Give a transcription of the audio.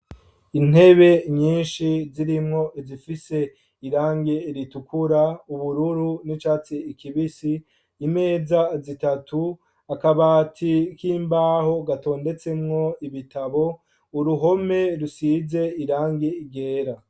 Intebe nyinshi zirimwo izifise irangi ritukura , ubururu n'icatsi kibisi, imeza zitatu, akabati k'imbaho gatondetsemwo ibitabo, uruhome rusize irangi ryera.